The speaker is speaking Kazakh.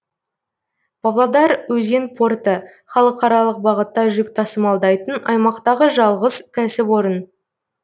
павлодар өзен порты халықаралық бағытта жүк тасымалдайтын аймақтағы жалғыз кәсіпорын